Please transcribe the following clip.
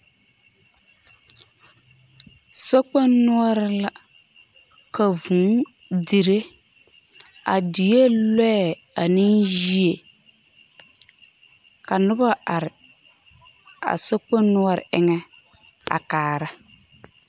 Sokpoŋ noͻreŋ la ka vũũ dire. A dieŋ lͻԑ aneŋ yie. Ka noba are a sokpoŋ noͻre eŋԑ a kaara.